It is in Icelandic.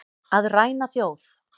Að ræna þjóð